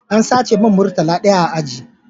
An sace mun murtala ɗaya a aji